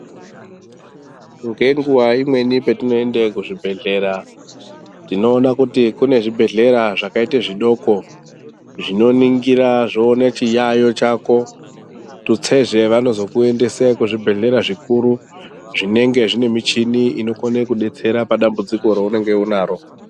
Ngenguwa imweni patinoyenda kuzvibhedhlera, tinowona kuti kune zvibhedhlera zvakaite zvidoko, zvinoningira zvowone chiyayo chako. Tutsezve, vanozokuyendese kuzvibhedhlera zvikuru zvinenge zvinemichini inokone kudetsera padambudziko rawunenge unaro.